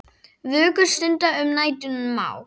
Vöku stunda um nætur má.